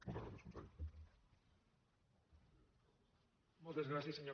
moltes gràcies conseller